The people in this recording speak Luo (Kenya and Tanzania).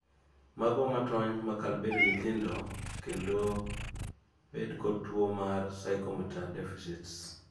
mago matony makal bedo nyithindo bed kod tuo mar psychomotor deficits